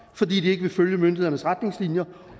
fordi de ikke vil følge myndighedernes retningslinjer